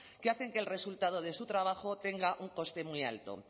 que hacen que el resultado de su trabajo tenga un coste muy alto